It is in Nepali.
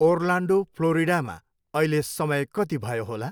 ओर्लान्डो फ्लोरिडामा अहिले समय कति भयो होला?